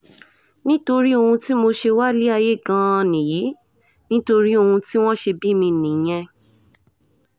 nítorí ohun tí mo ṣe wá sílé ayé gan-an nìyí nítorí ohun tí wọ́n ṣe bí mi nìyẹn